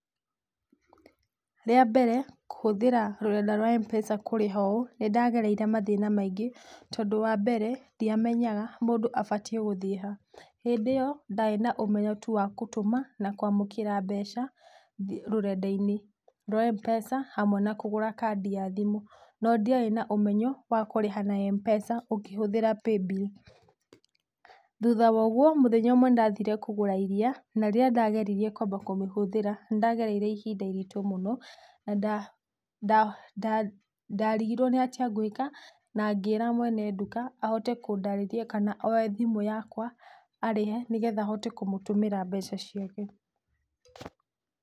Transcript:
Rĩa mbere kũhũthĩra rũrenda rwa M-PESA kũrĩha ũũ nĩ ndagereire mathĩna maingĩ, tondũ wa mbere ndiamenyaga mũndũ abatiĩ gũthiĩ ha. Hĩndĩ ĩyo ndarĩ na ũmenyo tu wa gũtũma na kũamũkĩra mbeca rurenda-ĩnĩ rwa M-PESA hamwe na kũgũra kandi ya thimũ, no ndiarĩ na ũmenyo wa kũrĩha na M-PESA ũkĩhũthĩra Paybill. Thutha wa ũguo, mũthenya ũmwe nĩ ndathire kũgũra iriia na rĩrĩa ndageririe kũamba kũmĩhũthĩra, nĩ ndagereire ihinda iritũ mũno, ndarigirwo nĩ atĩa ngũĩka na ngĩra mwene nduka ahote kũndarĩria kana oye thimũ yakwa arĩhe, nĩgetha hote kũmũtũmĩra mbeca ciake.